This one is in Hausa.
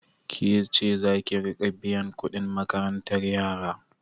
Ke ceza ki riƙa biyan kuɗin makarantar yara?